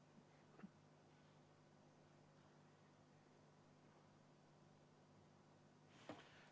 ]